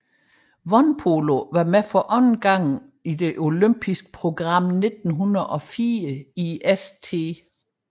Vandpolo var med for anden gang på det olympiske program 1904 i St